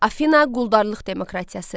Afina quldarlıq demokratiyası.